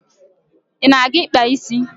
Ị na-aga ịkpa isi?